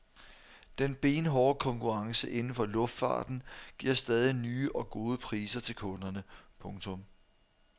Den benhårde konkurrence inden for luftfarten giver stadig nye og gode priser til kunderne. punktum